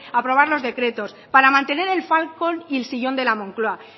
aprobar los decretos para mantener el falcon y el sillón de la moncloa